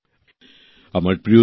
নতুনদিল্লি ২৫শে জুলাই ২০২১